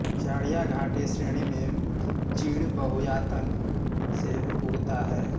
चड़िया घाटी श्रेणी में चीड़ बहुतायत से उगता है